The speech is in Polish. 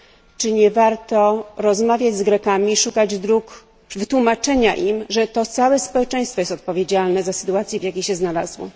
Czy nie warto rozmawiać z Grekami i szukać dróg wytłumaczenia im, że to całe społeczeństwo jest odpowiedzialne za sytuację, w jakiej się znalazło?